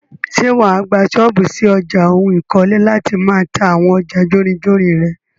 Ṣé wàá gbà ṣọ́ọ́bù ṣí ọjà oun ikole láti máà ta àwọn ọjà jórinjórin rẹ?